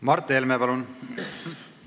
Mart Helme, palun!